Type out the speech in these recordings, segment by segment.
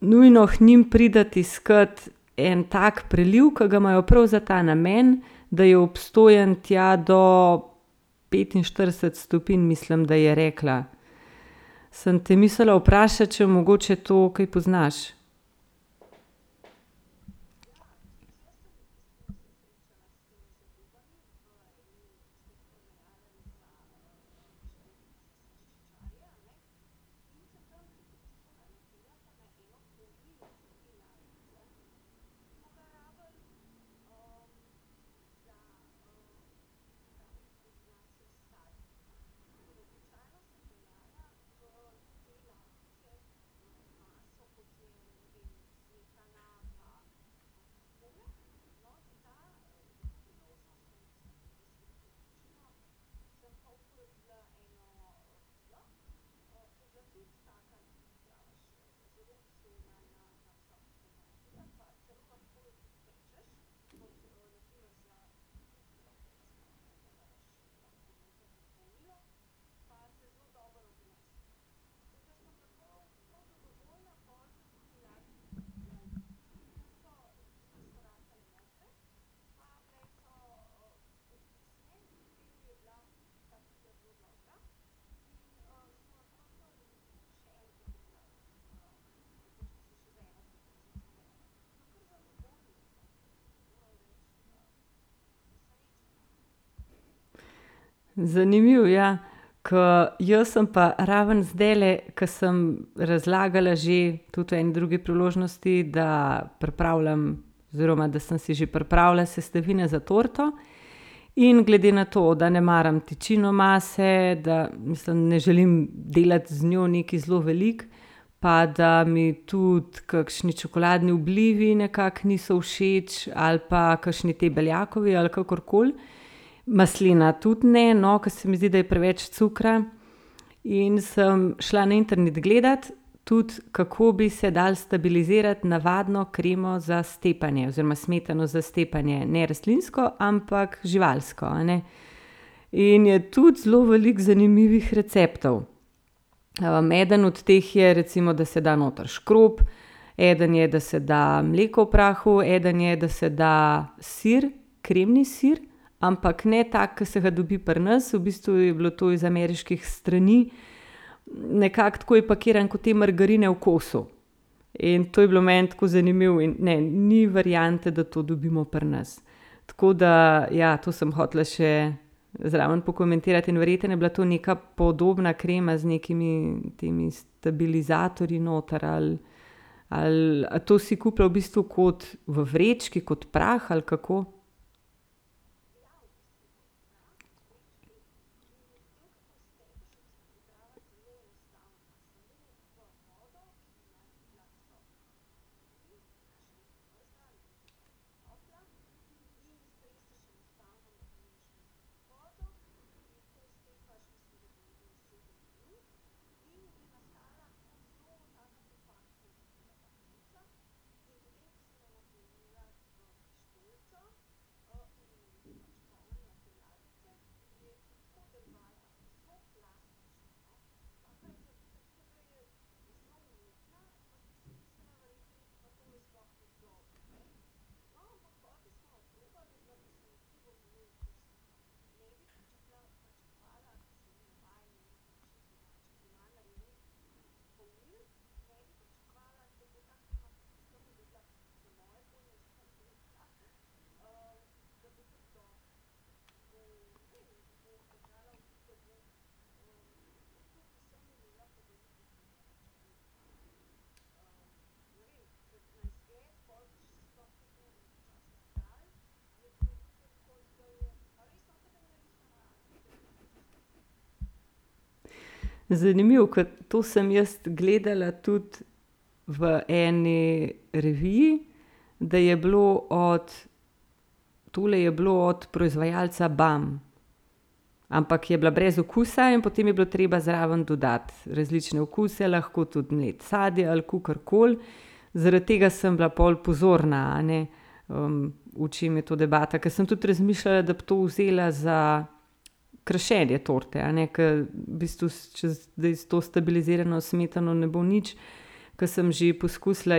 nujno k njim priti iskat en tak preliv, ke ga imajo prav za ta namen, da je obstojen tja do petinštirideset stopinj, mislim, da je rekla. Sem te mislila vprašati, če mogoče to kaj poznaš? Zanimivo, ja. Ke jaz sem pa ravno zdajle, ke sem razlagala že tudi o en drugi priložnosti, da pripravljam oziroma da sem si že pripravila sestavine za torto. In glede na to, da ne maram tečino mase, da mislim, ne želim delati z njo nekaj zelo veliko, pa da mi tudi kakšni čokoladni oblivi nekako niso všeč ali pa kakšni ti beljakovi ali pa kakorkoli. Maslena tudi ne, no, ke se mi zdi, da je preveč cukra. In sem šla na internet gledat tudi, kako bi se dalo stabilizirati navadno kremo za stepanje oziroma smetano za stepanje, ne rastlinsko, ampak živalsko, a ne. In je tudi zelo veliko zanimivih receptov. eden od teh je, recimo, da se da noter škrob, eden je, da se da mleko v prahu, eden je, da se da sir. Kremni sir, ampak ne tak, ke se ga dobi pri nas, v bistvu je bilo to iz ameriških strani. Nekako tako je pakiran, ko te margarine v kosu. In to je bilo meni tako zanimivo in, ne, ni variante, da to dobimo pri nas. Tako da, ja, to sem hotela še zraven pokomentirati in verjetno je bila to neka podobna krema z nekimi temi stabilizatorji noter ali, ali, a to si kupila v bistvu kot v vrečki kot prah ali kako? Zanimivo, ke to sem jaz gledala tudi v eni reviji, da je bilo od tule je bilo od proizvajalca Bam, ampak je bila brez okusa in potem je bilo treba zraven dodati različne okuse, lahko tudi mleto sadje ali kakorkoli. Zaradi tega sem bila pol pozorna, a ne. v čem je to debata, ko sem tudi razmišljala, da bi to vzela za krašenje torte, a ne, ke v bistvu, če zdaj s to stabilizirano smetano ne bo nič, ke sem že poskusila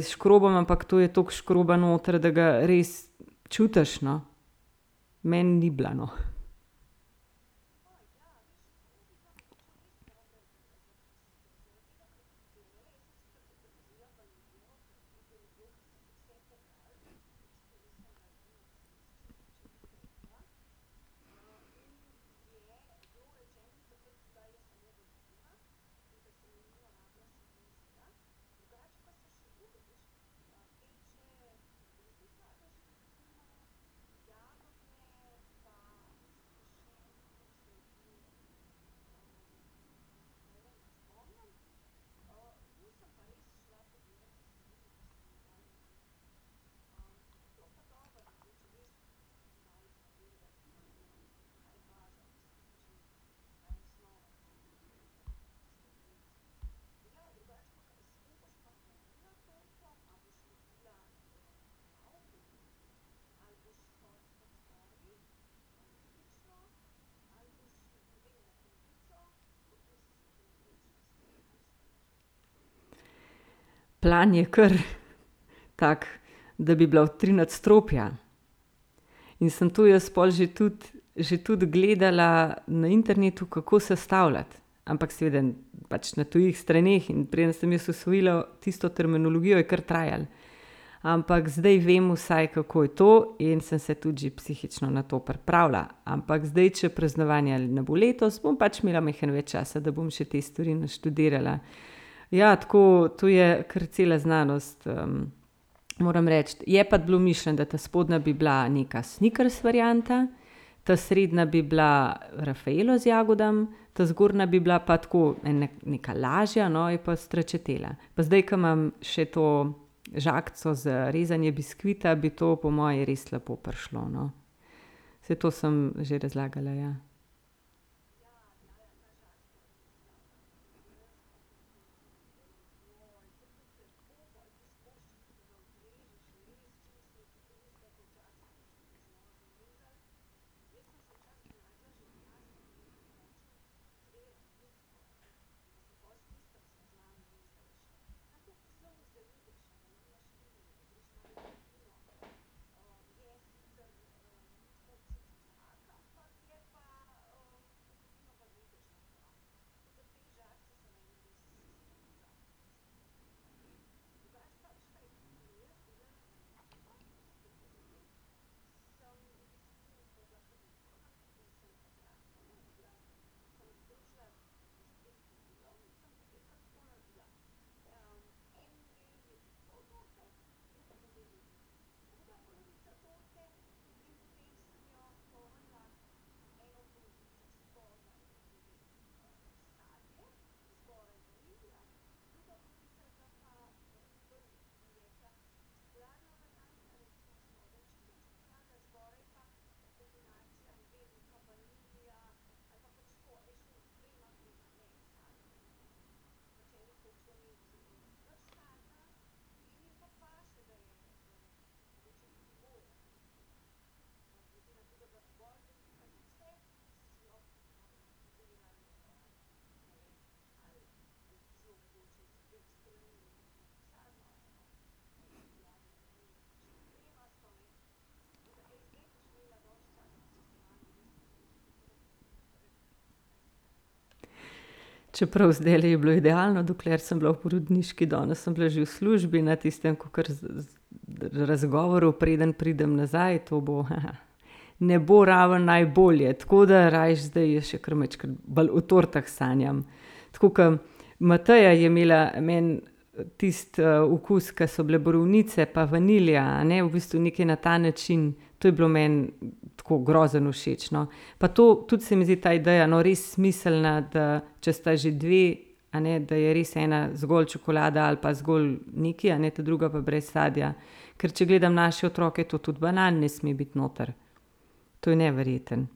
s škrobom, ampak to je toliko škroba noter, da ga res čutiš, no. Meni ni bila, no. Plan je kar tak, da bi bila v tri nadstropja. In sem to jaz pol že tudi, že tudi gledala na internetu, kako sestavljati, ampak seveda pač na tujih straneh, in preden sem jaz usvojila tisto terminologijo, je kar trajalo. Ampak zdaj vem vsaj, kako je to, in sem se vsaj psihično že na to pripravila, ampak zdaj, če praznovanja ne bo letos, bom pač imela majhno več časa, da bom še te stvari naštudirala. Ja, tako, to je kar cela znanost, Moram reči, je pa bilo mišljeno, da ta spodnja bi bila neka sneakers varianta, ta srednja bi bila raffaello z jagodami, ta zgornja bi bila pa tako neka lažja, no, je pa stračatela. Pa zdaj, ke imam še to žagico za rezanje biskvita, bi to po moje res lepo prišlo, no. Saj to sem že razlagala, ja. Čeprav zdajle je bilo idealno, dokler sem bila v porodniški, danes sem bila že v službi na tistem kakor razgovoru, preden pridem nazaj, to bo , ne bo ravno najbolje, tako da rajši zdaj jaz še kar majčkeno bolj o tortah sanjam. Tako ke Mateja je imela meni tisti, okus, ke so bile borovnice pa vanilija, a ne, v bistvu nekaj na ta način, to je bilo meni tako grozno všeč, no. Pa to tudi se mi zdi ta ideja res smiselna, če sta že dve, a ne, da je res ena zgolj čokolada ali pa zgolj nekaj, a ne, ta druga pa brez sadja. Ker če gledam naše otroke, to tudi banan ne sme biti noter. To je neverjetno.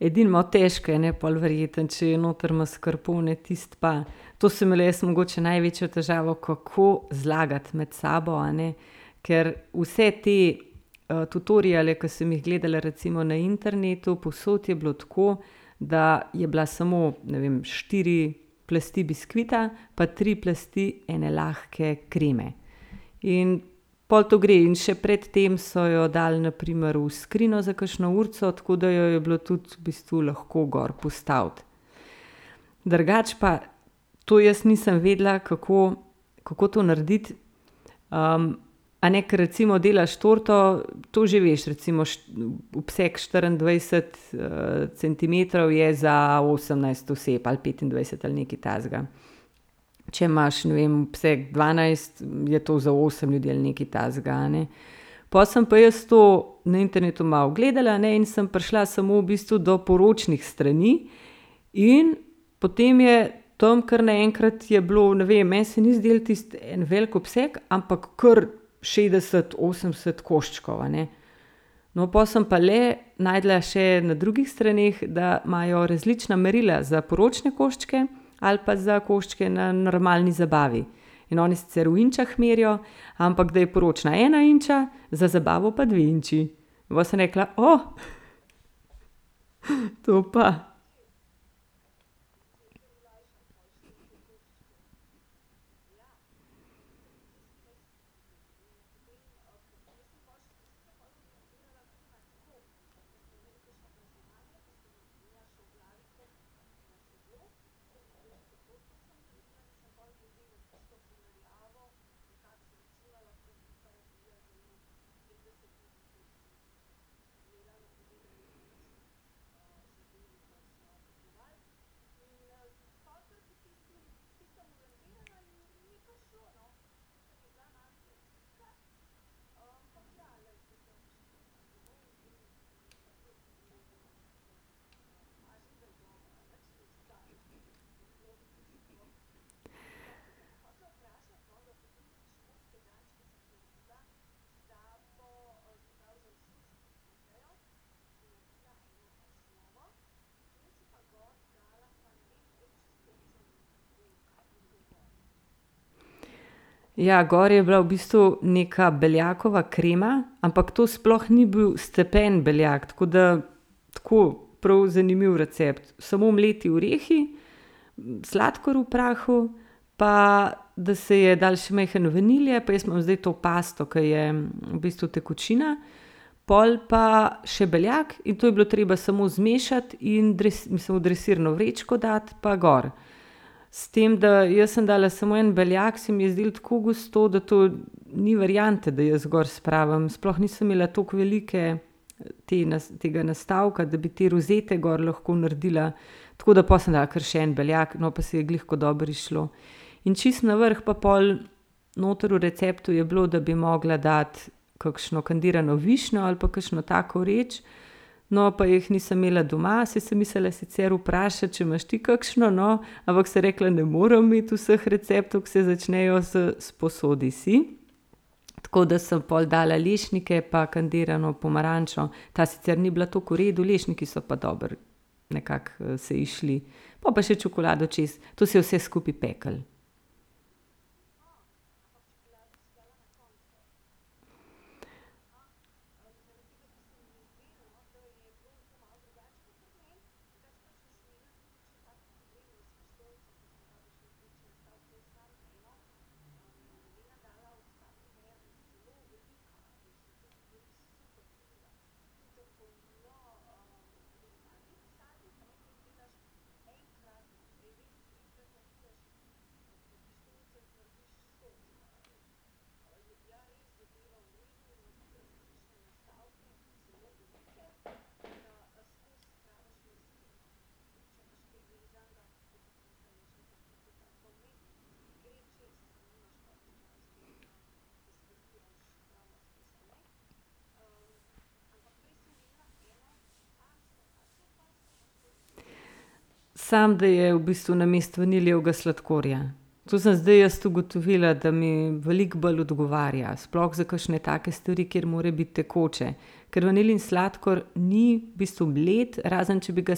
Edino malo težko je, a ne, pol verjetno, če je noter maskarpone, tisto pa, to sem imela jaz mogoče največjo težavo, kako zlagati med sabo, a ne, ker vse te, tutoriale, ke sem jih gledala recimo na internetu, povsod je bilo tako, da je bila samo, ne vem, štiri plasti biskvita pa tri plasti ene lahke kreme. In pol to gre in še pred tem so jo dali na primer v skrinjo za kakšno urico, tako da je bilo tudi v bistvu lahko gor postaviti. Drugače pa to jaz nisem vedela, kako, kako to narediti, a ne, ke recimo delaš torto, to že veš recimo, obseg štiriindvajset, centimetrov je za osemnajst oseb ali petindvajset ali nekaj takega. Če imaš, ne vem, obseg dvanajst, je to za osem ljudi, ali nekaj takega, a ne. Pol sem pa jaz to na internetu malo gledala, a ne, in sem prišla samo v bistvu do poročnih strani. In potem je tam kar naenkrat je bilo, ne vem, meni se ni zdelo tisto en velik obseg, ampak kar šestdeset, osemdeset koščkov, a ne. No, pol sem pa le našla še na drugih straneh, da imajo različna merila za poročne koščke ali pa za koščke na normalni zabavi. In oni sicer v inčah merijo, ampak da je poročna ena inča, za zabavo pa dve inči. Pol sem pa rekla, to pa. Ja, gor je bila v bistvu neka beljakova krema, ampak to sploh ni bil stepen beljak, tako da tako prav zanimiv recept, samo mleti orehi, sladkor v prahu, pa da se je dalo še malo vanilije, pa jaz imam zdaj to pasto, ke je v bistvu tekočina, pol pa še beljak, in to je bilo treba samo zmešati in mislim, v dresirno vrečko dati pa gor. S tem da, jaz sem dala samo en beljak, se mi je zdelo tako gosto, da to ni variante, da jaz gor spravim, sploh nisem imela tako velike te tega nastavka, da bi te rozete gor lahko naredila, Tako da pol sem dala kar še en beljak, no, pa se je glih tako dobro izšlo. In čisto na vrh pa pol noter v receptu je bilo, da bi mogla dati kakšno kandirano višnjo ali pa kakšno tako reč. No, pa jih nisem imela doma, saj sem mislila sicer vprašati, če imaš ti kakšno, no, ampak sem rekla, ne morem imeti vseh receptov, ki se začnejo s "sposodi si". Tako da sem pol dala lešnike pa kandirano pomarančo, ta sicer ni bila tako v redu, lešniki so pa dobro nekako, se izšli. Pol pa še čokolado čez, to se je vse skupaj peklo. Samo da je v bistvu namesto vanilijevga sladkorja. To sem zdaj jaz ugotovila, da mi veliko bolj odgovarja, sploh za kakšne takšne stvari, kjer mora biti tekoče. Kar vanilijin sladkor ni v bistvu mlet, razen če bi ga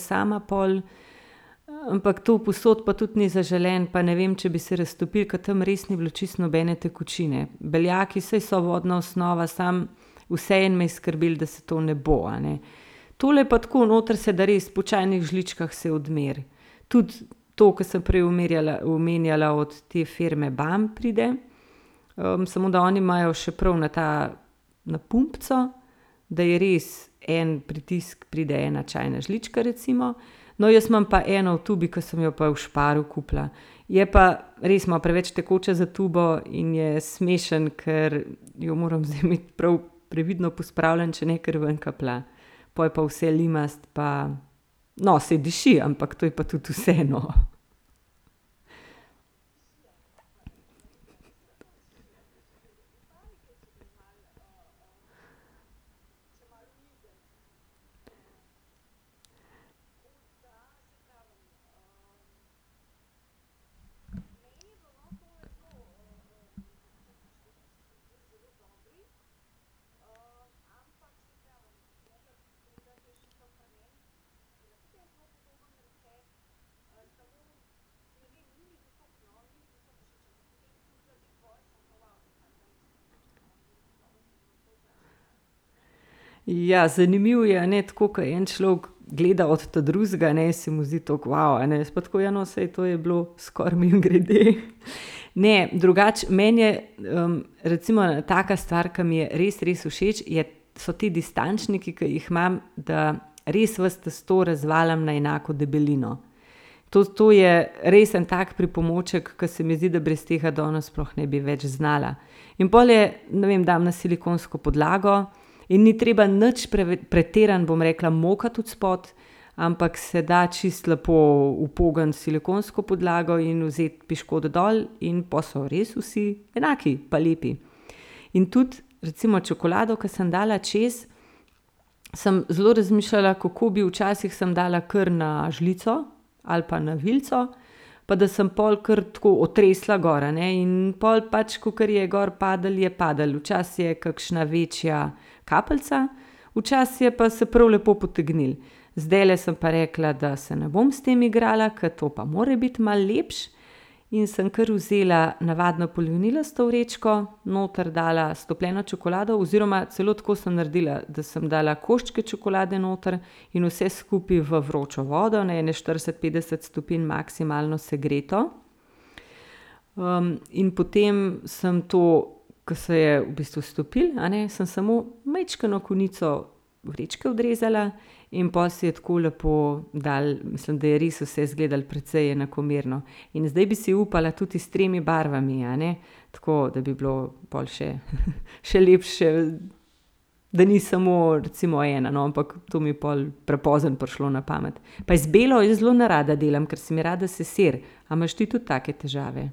sama pol, ampak to povsod pa tudi ni zaželeno, pa ne vem, če bi se raztopilo, ker tam res ni bilo čisto nobene tekočine. Beljaki saj so vodna osnova, samo vseeno me je skrbelo, da se to ne bo, a ne. Tole pa tako, noter se da res po čajnih žličkah se odmeri tudi to, ko sem prej omerjala, omenjala od te firme Bam pride. samo da oni imajo še prav na ta na pumpico, da je res en pritisk pride ena čajna žlička recimo. No, jaz imam pa eno v tubi, ke sem jo pa v Sparu kupila. Je pa res malo preveč tekoče za tubo in je smešno, ker jo moram zdaj imeti prav previdno pospravljeno, če ne kar ven kaplja. Pol je pa vse limasto pa, no, saj diši, ampak to je pa tudi vse, no. Ja zanimivo je, a ne tako, ke je en človek gleda od ta drugega, ne, se mu zdi tako, a ne, jaz pa tako, ja, no, to je bilo skoraj mimogrede. Ne, drugače meni je, recimo taka stvar, ke mi je res, res všeč, je so ti distančniki, ke jih imam, da res vse testo razvaljam na enako debelino. Tudi to je res en tak pripomoček, ker se mi zdi, da brez tega danes ne bi več znala. In pol je, ne vem, dam na silikonsko podlago in ni treba nič pretirano, bom rekla, mokati odspodaj, ampak se da čisto lepo upogniti silikonsko podlago in vzeti piškot dol in pol so res vsi enaki pa lepi. In tudi recimo čokolado, ke sem dala čez, sem zelo razmišljala, kako bi, včasih sem dala kar na žlico ali pa na vilico pa da sem pol kar tako otresla gor, a ne, in pol pač kakor je gor padlo, je padlo. Včasih je kakšna večja kapljica, včasih je pa se prav lepo potegnilo. Zdajle sem pa rekla, da se ne bom s tem igrala, ker to pa mora biti malo lepše. In sem kar vzela navadno polivinilasto vrečko, noter dala stopljeno čokolado, oziroma celo tako sem naredila, da sem dala koščke čokolade noter in vse skupaj v vročo vodo, na ene štirideset, petdeset stopinj maksimalno segreto. in potem sem to, ke se je v bistvu stopilo, a ne, sem samo majčkeno konico vrečke odrezala in pol se je tako lepo dalo, mislim, da je res vse izgledalo precej enakomerno, in zdaj bi si upala tudi s tremi barvami, a ne. Tako da bi bilo pol še, še lepše, da ni samo recimo ena, no, ampak to mi je pol prepozno prišlo na pamet pa z belo jaz zelo nerada delam, ker se mi rada sesiri, a imaš ti tudi take težave?